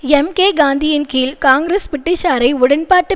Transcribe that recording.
எம்கேகாந்தியின் கீழ் காங்கிரஸ் பிரிட்டிஷாரை உடன்பாட்டு